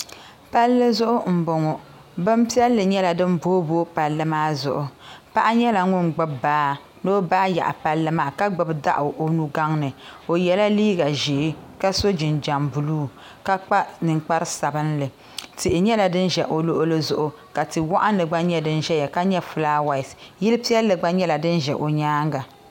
Palli zuɣu n bɔŋo bin piɛlli nyɛla din booyi booyi palli maa zuɣu paɣa nyɛla ŋun gbubi baa ni o baa yaɣi palli maa ka gbubi daɣu o nuu gaŋ ni o yɛla liiga ʒee ka so jinjam buluu ka kpa ninkpara sabinli tihi nyɛla din ʒɛ o luɣuli zuɣu ka tia waɣinli gba nyɛ din ʒɛya ka nyɛ filaawaas yili piɛlli gba nyɛla din ʒɛ o nyaanga.